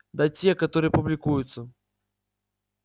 да те которые публикуются